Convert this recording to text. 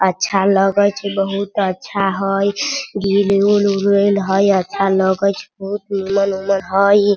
अच्छा लगई छे बहुत अच्छा हई उरिल हाई अच्छा लगई छे बहुत हई।